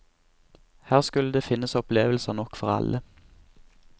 Her skulle det finnes opplevelser nok for alle.